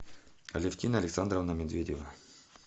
алевтина александровна медведева